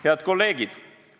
Head kolleegid!